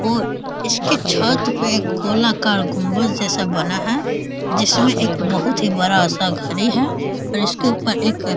और इसके छत पे गोलाकर गुम्बद जैसा बना है जिसमें एक बहुत ही बड़ा सा घड़ी है और इसके उपर एक --